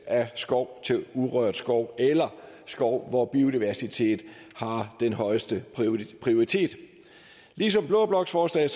af skov til urørt skov eller skov hvor biodiversitet har den højeste prioritet ligesom blå bloks forslag